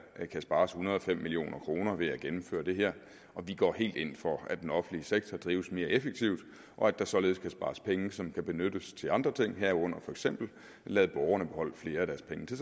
kan spares en hundrede og fem million kroner ved at gennemføre det her og vi går helt ind for at den offentlige sektor drives mere effektivt og at der således kan spares penge som kan benyttes til andre ting herunder for eksempel at lade borgerne beholde flere af deres penge til